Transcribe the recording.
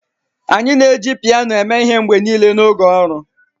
anyị na-eji piano eme ihe mgbe niile n'oge ọrụ.